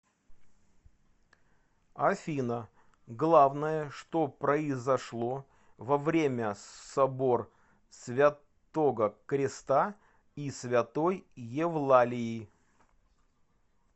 афина главное что произошло во время собор святого креста и святой евлалии